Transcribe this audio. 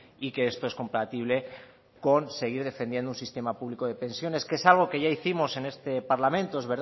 y que esto es compatible con seguir defendiendo un sistema público de pensiones que es algo que ya hicimos en este parlamento es